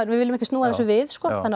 við viljum ekki snúa þessu við sko þannig